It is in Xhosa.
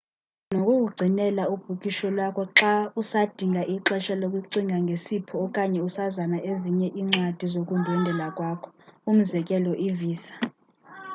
bayakwazi nokukugcinela ibhukisho lwakho xa usadinga ixesha lokucinga ngesipho okanye usazama ezinye incwadi zokundwendwela kwakho umzekelo ivisa